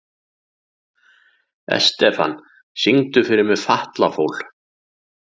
Estefan, syngdu fyrir mig „Fatlafól“.